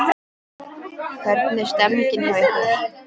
Hvernig er stemmingin hjá ykkur?